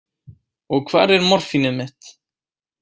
Og hvar er morfínið mitt?